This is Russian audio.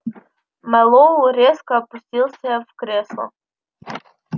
мэллоу резко опустился в кресло